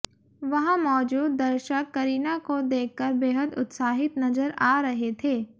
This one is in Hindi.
वहां मौजूद दर्शक करीना को देखकर बेहद उत्साहित नज़र आ रहे थे